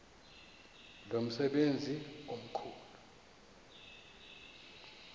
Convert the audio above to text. lo msebenzi mkhulu